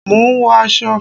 Mò ń wọ aṣọ